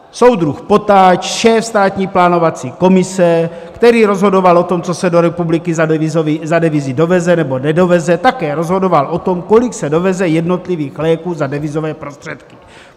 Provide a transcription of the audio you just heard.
Soudruh Potáč, šéf Státní plánovací komise, který rozhodoval o tom, co se do republiky za devizy doveze nebo nedoveze, také rozhodoval o tom, kolik se doveze jednotlivých léků za devizové prostředky.